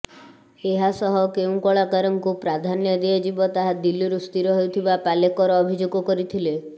ଏହାସହ କେଉଁ କଳାକାରଙ୍କୁ ପ୍ରାଧାନ୍ୟ ଦିଆଯିବ ତାହା ଦିଲ୍ଲୀରୁ ସ୍ଥିର ହେଉଥିବା ପାଲେକର ଅଭିଯୋଗ କରିଥିଲେ